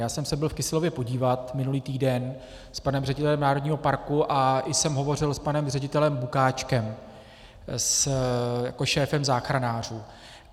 Já jsem se byl v Kyselově podívat minulý týden s panem ředitelem národního parku a i jsem hovořil s panem ředitelem Bukáčkem jako šéfem záchranářů.